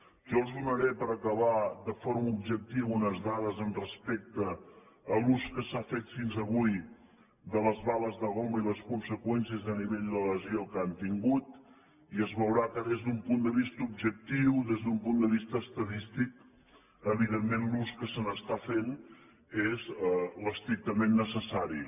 jo els donaré per acabar de forma objectiva unes dades respecte a l’ús que s’ha fet fins avui de les bales de goma i les conseqüències a nivell de lesió que han tingut i es veurà que des d’un punt de vista objectiu des d’un punt de vista estadístic evidentment l’ús que se n’està fent és l’estrictament necessari